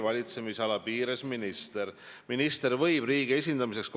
Aga ma pean vastama ka teie küsimuse peamisele osale, millele te kõige rohkem aega kulutasite.